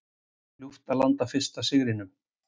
Ljúft að landa fyrsta sigrinum